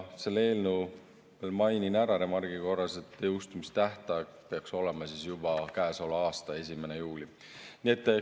Mainin remargi korras ära, et selle eelnõu jõustumistähtaeg peaks olema juba käesoleva aasta 1. juuli.